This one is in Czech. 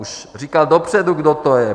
Už říkal dopředu, kdo to je.